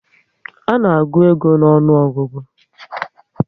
A na agụ ego n'onuogugu